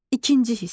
İkinci hissə.